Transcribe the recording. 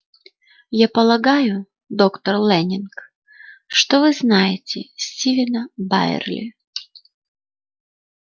я полагаю доктор лэннинг что вы знаете стивена байерли